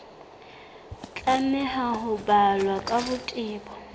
tlameha ho balwa ka botebo